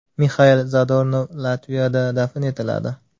Mixail Zadornov Latviyada dafn etiladi.